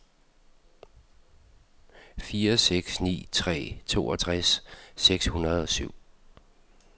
fire seks ni tre toogtres seks hundrede og syv